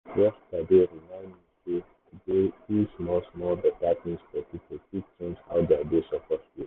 yesterday remind me sey to dey do small-small better things for people fit change how their day suppose go.